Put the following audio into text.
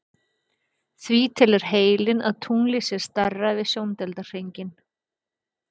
Því telur heilinn að tunglið sé stærra við sjóndeildarhringinn.